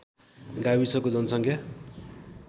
गाविसको जनसङ्ख्या